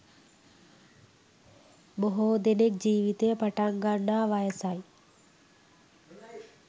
බොහෝ දෙනෙක් ජීවිතය පටන් ගන්නා වයසයි